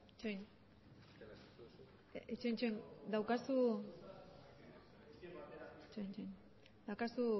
itxaron daukazu